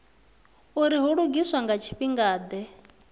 uri hu lugiswa nga tshifhingade